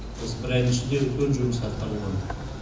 осы бір айдың ішінде үлкен жұмыс атқарылды